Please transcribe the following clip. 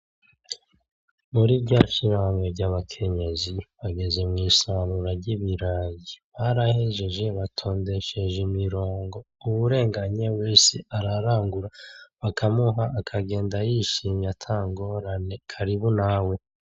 Muri rya shirahamwe ry’ abakenyezi bageze mw’isarura ry’Ibirayi. Barahejeje batondesheje imirongo k’uwurenganye ararangura bakamuha akagenda yishimye ata ngorane karibu nawe.